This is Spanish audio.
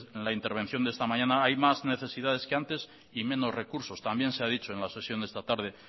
en la intervención de esta mañana hay más necesidades que antes y menos recursos también se ha dicho en la sesión de esta tarde